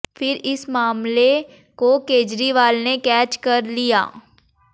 फिर इस मामले को केजरीवाल ने कैच कर लिया